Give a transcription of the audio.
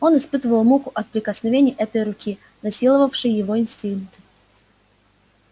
он испытывал муку от прикосновения этой руки насиловавшей его инстинкты